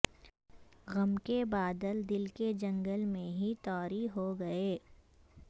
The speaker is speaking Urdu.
غم کے بادل دل کے جنگل میں ہی طاری ہو گئے